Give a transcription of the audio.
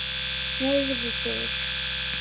Hreyfðu þig.